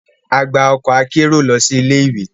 A gba ọkọ akero lọ si ilé-ìwé.